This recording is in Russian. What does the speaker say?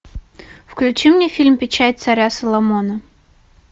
включи мне фильм печать царя соломона